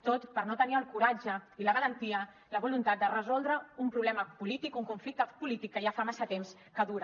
tot per no tenir el coratge i la valentia la voluntat de resoldre un problema polític un conflicte polític que ja fa massa temps que dura